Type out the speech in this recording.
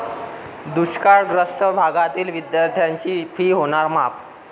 दुष्काळग्रस्त भागातील विद्यार्थ्यांची 'फी' होणार माफ!